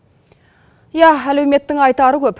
ия әлеуметтің айтары көп